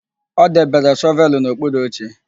O debere shọvelụ n'okpuru oche.